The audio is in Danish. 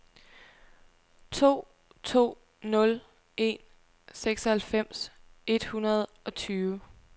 to to nul en seksoghalvfems et hundrede og tyve